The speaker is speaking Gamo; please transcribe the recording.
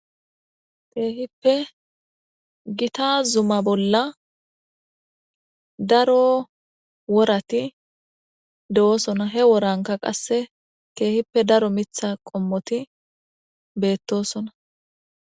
Keehippe gita zuma bolla daro worati do'osona he woranka qasse keehippe daro mitha qommoti beettosona.